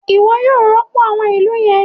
Iwọ yóò rọpo awọn ilú yẹn!